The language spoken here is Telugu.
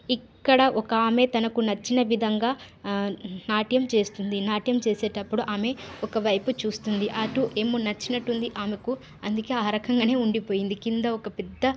ఇక్కడ ఒక ఆమె తనకు నచ్చిన విధంగా ఆ నాట్యం చేస్తుంది నాట్యం చేసేటప్పుడు ఆమె ఒక వైపు చూస్తుంది అటు ఏమో నచ్చినట్టుంది ఆమెకు అందుకె ఆ రకంగానే ఉండి పొయింది కింద ఒక పెద్ద --